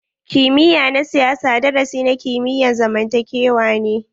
Kimiyya na siyasa darasi na kimiyyan zamantakewa ne.